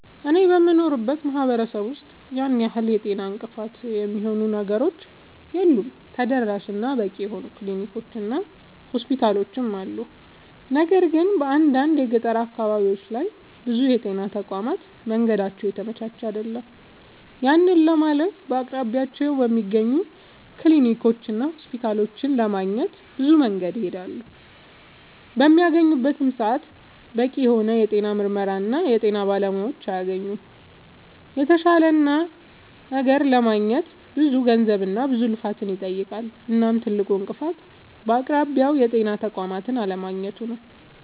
አኔ በምኖርበት ማህበረሰብ ውስጥ ያን ያህል የጤና እንቅፋት የሚሆኑ ነገሮች የሉም ተደራሽ እና በቂ የሆኑ ክሊኒኮች እና ሆስፒታሎችም አሉ። ነገር ግን በአንዳንድ የገጠር አካባቢዎች ላይ ብዙ የጤና ተቋማት መንገዳቸው የተመቻቸ አይደለም። ያንን ለማለፍ በአቅራቢያቸው በሚገኙ ክሊኒኮችና ሆስፒታሎች ለማግኘት ብዙ መንገድን ይሄዳሉ። በሚያገኙበትም ሰዓት በቂ የሆነ የጤና ምርመራና የጤና ባለሙያዎችን አያገኙምና የተሻለ ነገር ለማግኘት ብዙ ገንዘብና ብዙ ልፋትን ይጠይቃል። እናም ትልቁ እንቅፋት በአቅራቢያው የጤና ተቋም አለማግኘቱ ነዉ